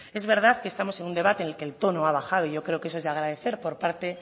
es verdad que estamos en un debate en el que el tono ha bajado y yo creo que eso es de agradecer por parte